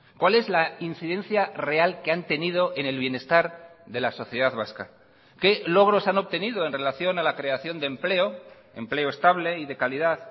cuál es la incidencia real que han tenido en el bienestar de la sociedad vasca qué logros han obtenido en relación a la creación de empleo empleo estable y de calidad